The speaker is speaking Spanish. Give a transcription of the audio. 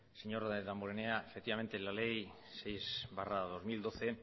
señor damborenea efectivamente la ley seis barra dos mil doce